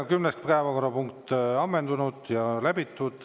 Kümnes päevakorrapunkt on ammendunud ja läbitud.